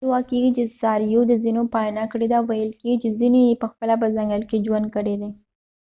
دا ادعا کيږي چې څارويو د ځینو پالنه کړې ده ویل کیږي چې ځینې یې پخپله په ځنګل کې ژوند کړی دی